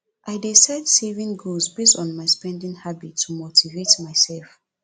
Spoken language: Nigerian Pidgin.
i dey set savings goals based on my spending habits to motivate myself